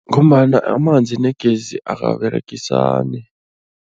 Ngombana amanzi negezi akaberegisani.